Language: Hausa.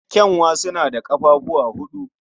Ƙyanwa suna da ƙafafuwa huɗu.